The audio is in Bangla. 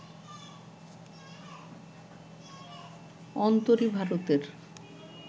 অন্তরি ভারতের